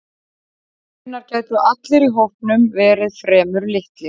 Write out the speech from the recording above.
Raunar gætu allir í hópnum verið fremur litlir.